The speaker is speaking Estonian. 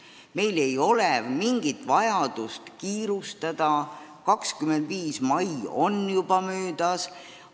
Meil ei ole mingit vajadust kiirustada: 25. mai on juba möödas.